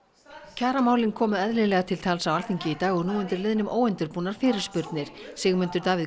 kjaramálin komu eðlilega til tals á Alþingi í dag og nú undir liðnum óundirbúnar fyrirspurnir Sigmundur Davíð